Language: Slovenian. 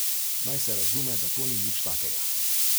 Naj se razume, da to ni nič takega.